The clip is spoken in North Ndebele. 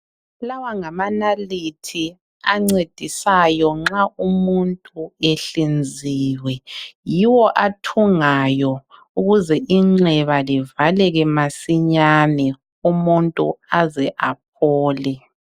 Lawa ngamanalithi ancedisayo nxa umuntu ehlinziwe. Yiwo athungayo ukuze inxeba livaleke masinyane umuntu aze aphole.